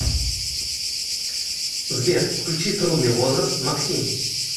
сбер включи трудный возраст максим